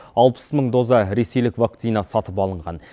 алпыс мың доза ресейлік вакцина сатып алынған